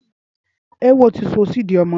Éwo ti sọ sí ìdí ọmọ náà